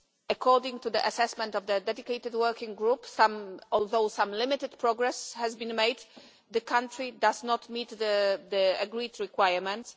According to the assessment of the dedicated working group, although some limited progress has been made, the country does not meet the agreed requirements.